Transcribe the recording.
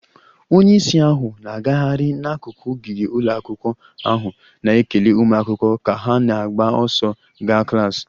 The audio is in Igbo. Onye isi ahụ na-agagharị n'akụkụ ogige ụlọ akwụkwọ ahụ, na-ekele ụmụ akwụkwọ ka ha na-agba ọsọ gaa klas